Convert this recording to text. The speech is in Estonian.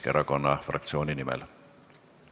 Küllap te olete selle teema korralikult läbi töötanud.